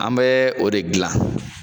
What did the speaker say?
An bɛɛ o de gilan